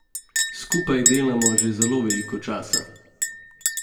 Skupaj delamo že zelo veliko časa.